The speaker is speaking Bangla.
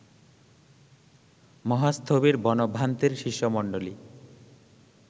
মহাস্থবির বনভান্তের শিষ্যমন্ডলী